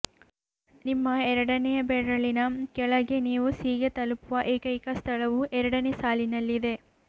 ನಿಮ್ಮ ಎರಡನೆಯ ಬೆರಳಿನ ಕೆಳಗೆ ನೀವು ಸಿ ಗೆ ತಲುಪುವ ಏಕೈಕ ಸ್ಥಳವು ಎರಡನೇ ಸಾಲಿನಲ್ಲಿದೆ